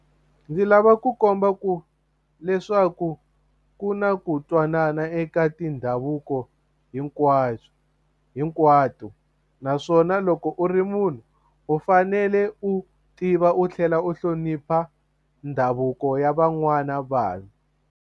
Ndzi lava ku komba ku leswaku ku na ku twanana eka tindhavuko hinkwato naswona loko u ri munhu u fanele u tiva u tlhela u hlonipha ndhavuko ya van'wana vanhu.